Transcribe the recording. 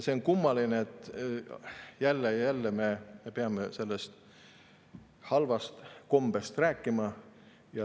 See on kummaline, et jälle ja jälle me peame sellest halvast kombest rääkima.